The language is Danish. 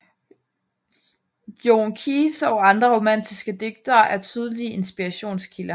John Keats og andre romatiske digtere er tydelige inspirationskilder